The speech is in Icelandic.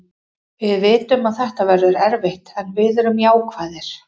Við vitum að þetta verður erfitt en við erum jákvæðir.